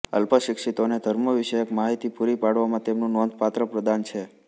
અલ્પશિક્ષિતોને ધર્મવિષયક માહિતી પૂરી પાડવામાં તેમનું નોંધપાત્ર પ્રદાન છે